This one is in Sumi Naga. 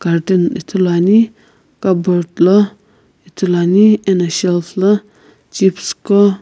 cartoon ithulu ane carbort lo ithulu ane ano chips ko --